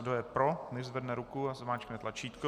Kdo je pro, nechť zvedne ruku a zmáčkne tlačítko.